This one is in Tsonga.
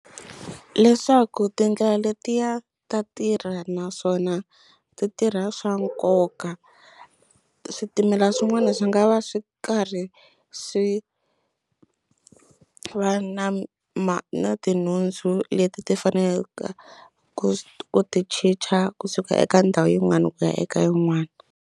Leswaku tindlela letiya ta tirha naswona ti tirha swa nkoka switimela swin'wana swi nga va swi karhi swi va na ma na tinhundzu leti ti faneleke ku ti chicha kusuka eka ndhawu yin'wana ku ya eka yin'wani.